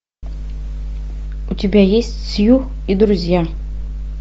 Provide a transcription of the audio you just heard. у тебя есть сью и друзья